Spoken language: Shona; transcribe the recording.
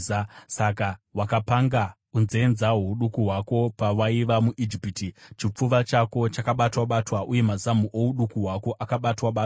Saka wakapanga unzenza hwouduku hwako, pawaiva muIjipiti chipfuva chako chakabatwa-batwa uye mazamu ouduku hwako akabatwa-batwa.